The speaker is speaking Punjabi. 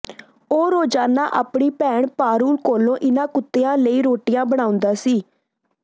ਉਹ ਰੋਜ਼ਾਨਾ ਆਪਣੀ ਭੈਣ ਪਾਰੂਲ ਕੋਲੋਂ ਇਨ੍ਹਾਂ ਕੁੱਤਿਆਂ ਲਈ ਰੋਟੀਆਂ ਬਣਾਉਂਦਾ ਸੀ